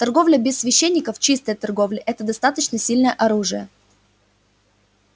торговля без священников чистая торговля это достаточно сильное оружие